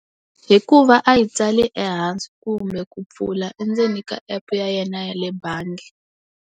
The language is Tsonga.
Hikuva a yi tsale ehansi kumbe ku pfula endzeni ka app ya yena yale bangi.